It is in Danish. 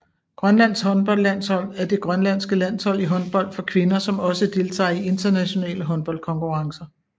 Grønlands håndboldlandshold er det grønlandske landshold i håndbold for kvinder som også deltager i internationale håndboldkonkurrencer